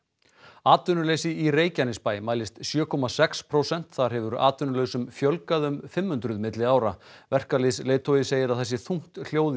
atvinnuleysi í Reykjanesbæ mælist sjö komma sex prósent þar hefur atvinnulausum fjölgað um fimm hundruð milli ára verkalýðsleiðtogi segir að það sé þungt hljóð í